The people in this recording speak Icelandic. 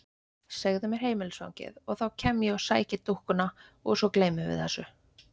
Segðu mér heimilisfangið og þá kem ég og sæki dúkkuna og svo gleymum við þessu.